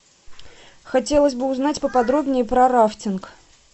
хотелось бы узнать поподробнее про рафтинг